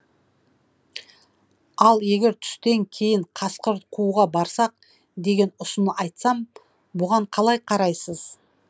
ал егер түстен кейін қасқыр қууға барсақ деген ұсын айтсам бұған қалай қарайсыз